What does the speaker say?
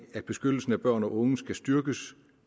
at beskyttelsen af børn og unge skal styrkes